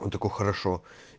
он такой хорошо